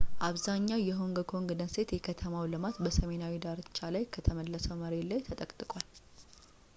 አብዛኛው የሆንግ ኮንግ ደሴት የከተማ ልማት በሰሜናዊው ዳርቻ ላይ ከተመለሰው መሬት ላይ ተጠቅጥቋል